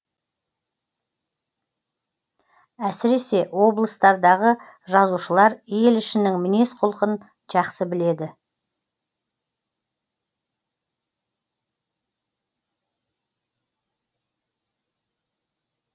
әсіресе облыстардағы жазушылар ел ішінің мінез құлқын жақсы біледі